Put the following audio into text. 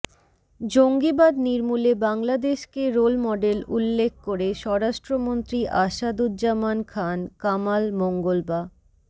জঙ্গিবাদ নির্মূলে বাংলাদেশকে রোল মডেল উল্লেখ করে স্বরাষ্ট্রমন্ত্রী আসাদুজ্জামান খান কামাল মঙ্গলবা